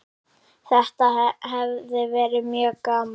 Þetta hefur verið mjög gaman.